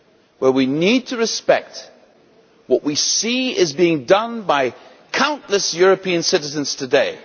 where we need to respect what we see is being done by countless European citizens today.